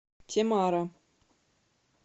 темара